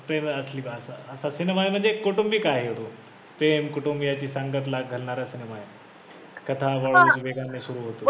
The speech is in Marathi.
प्रेम असा सिनेमा आहे, असा सिनेमा आहे म्हणजे कौटुंबिक आहे हो प्रेम, कुटुंबीयांची संगत ला घालणारा सिनेमा आहे हा कथा सुरू होतो.